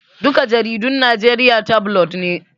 Duka jaridun Najeriya tabulod ne